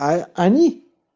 а они